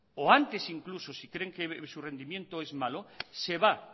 o antes incluso si creen que su rendimiento es malo se va